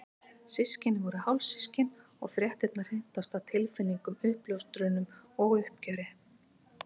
Systkinin voru hálfsystkin og fréttirnar hrintu af stað tilfinningum, uppljóstrunum og uppgjöri.